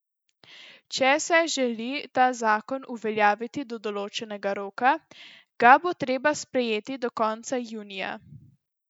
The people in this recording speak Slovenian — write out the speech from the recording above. Če se želi ta zakon uveljaviti do določenega roka, ga bo treba sprejeti do konca junija.